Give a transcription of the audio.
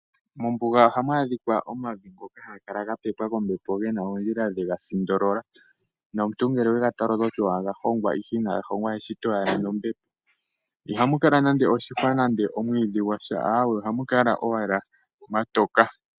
Mombuga oha mu adhikwa omavi ngoka haga kala ga pepwa kombepo ge na oondjila dha sindolola nomuntu ngele wega tala oto ti owala oga hongwa ashike ina ga hongwa eshito owala nombepo iha mu kala nande oshihwa nande omwiidhi gwasha aawe oha mu kala mwatoka.